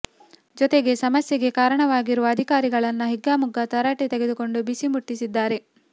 ಜೊತೆಗೆ ಸಮಸ್ಯೆಗೆ ಕಾರಣವಾಗಿರುವ ಅಧಿಕಾರಿಗಳನ್ನ ಹಿಗ್ಗಾಮುಗ್ಗಾ ತರಾಟೆ ತೆಗೆದುಕೊಂಡು ಬಿಸಿ ಮುಟ್ಟಿಸಿದ್ದಾರೆ